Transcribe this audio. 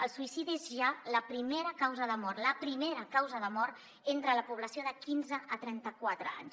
el suïcidi és ja la primera causa de mort la primera causa de mort entre la població de quinze a trenta quatre anys